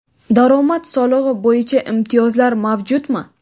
daromad solig‘i bo‘yicha imtiyozlar mavjudmi?.